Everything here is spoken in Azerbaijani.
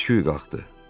Səsküy qalxdı.